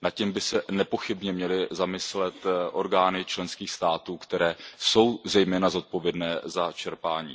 Nad tím by se nepochybně měly zamyslet orgány členských států, které jsou zejména zodpovědné za čerpání.